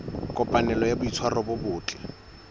kopanelo ya boitshwaro bo botle